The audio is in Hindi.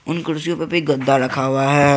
उन कुर्सियों पर भी गद्दा रखा हुआ है।